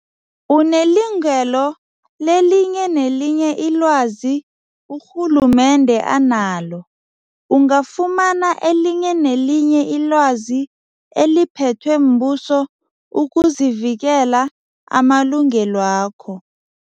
Unelungelo lelinye nelinye ilwazi urhulumende analo. Ungafumana elinye nelinye ilwazi eliphethwe mbuso ukuvikela amalungelwakho.